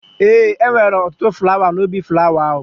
Ee, e nwere ọtụtụ flawa n'ubi flawa ahụ